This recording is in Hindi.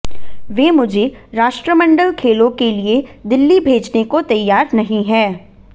वे मुझे राष्ट्रमंडल खेलों के लिए दिल्ली भेजने को तैयार नहीं हैं